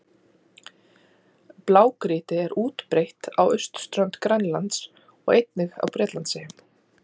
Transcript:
Blágrýti er útbreitt á austurströnd Grænlands og einnig á Bretlandseyjum.